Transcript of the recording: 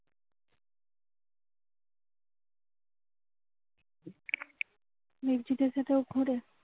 ঘোরে